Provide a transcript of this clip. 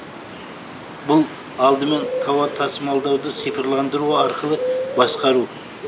бұл алдымен тауар тасымалдауды цифрландыру арқылы басқару